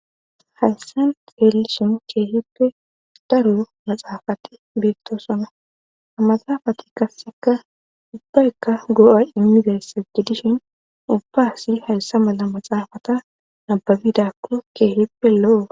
hayssan xeelishin keehippe daro maxaafatti beettosona ham axaafati kasseka ubbaykka go'a immizayssajedishin ubba si hayssa mala maxaafata nababidakko keehippe lo'o